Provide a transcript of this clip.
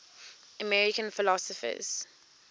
american philosophers